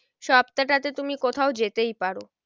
সপ্তাটাতে তুমি কোথাও যেতেই পারো।